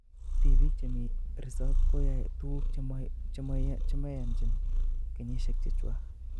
Tipik chemii resop koyoe tuguk chemanyochin kenyishek chechwak